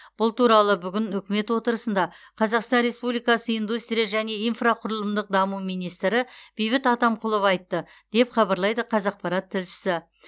бұл туралы бүгін үкімет отырысында қазақстан республикасы индустрия және инфрақұрылымдық даму министрі бейбіт атамқұлов айтты деп хабарлайды қазақпарат тілшісі